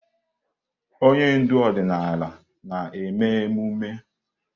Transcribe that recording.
Onye ndu ọdịnala na-eme emume.